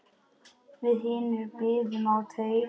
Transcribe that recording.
Við hinir biðum á teig.